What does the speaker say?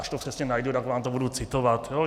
Až to přesně najdu, tak vám to budu citovat.